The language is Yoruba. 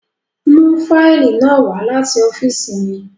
Mu faili naa wa lati ọfiisi mi!